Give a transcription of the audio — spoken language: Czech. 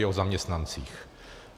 Je to zaměstnancích.